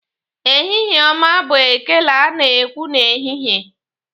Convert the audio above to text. Ehihie ọma bụ ekele ana ekwu n'ehihie.